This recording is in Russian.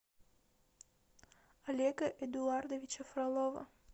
олега эдуардовича фролова